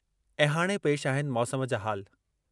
ऐं हाणे पेश आहिनि मौसम जा हाल